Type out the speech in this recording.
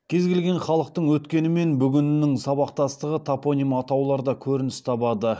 кез келген халықтың өткені мен бүгінінің сабақтастығы топоним атауларда көрініс табады